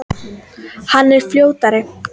Hann er fljótari.